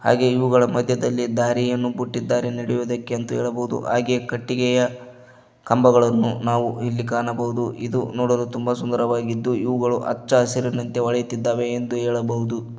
ಹಾಗೆ ಇವುಗಳ ಮಧ್ಯದಲ್ಲಿ ದಾರಿಯನ್ನು ಬುಟ್ಟಿದ್ದಾರೆ ನಡೆಯುವುದಕ್ಕೆ ಅಂತ ಹೇಳಬಹುದು ಹಾಗೆ ಕಟ್ಟಿಗೆಯ ಕಂಬಗಳನ್ನು ನಾವು ಇಲ್ಲಿ ಕಾಣಬಹುದು ಇದು ನೋಡಲು ತುಂಬಾ ಸುಂದರವಾಗಿದ್ದು ಇವುಗಳು ಅಚ್ಚರಿನಂತೆ ಹೊಳೆಯುತ್ತಿವೆ ಎಂದು ಹೇಳಬಹುದು.